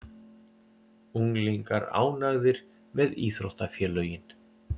Unglingar ánægðir með íþróttafélögin